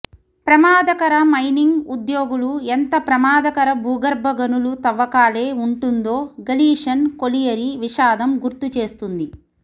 ప్రమాదకర మైనింగ్ ఉద్యోగులు ఎంత ప్రమాదకర భూగర్భ గనుల తవ్వకాలే ఉంటుందో గలీషన్ కొలియరి విషాదం గుర్తుచేస్తుంది